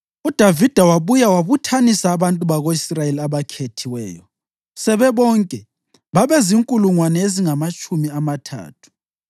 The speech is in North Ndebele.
UDavida wabuya wabuthanisa abantu bako-Israyeli abakhethiweyo, sebebonke babezinkulungwane ezingamatshumi amathathu.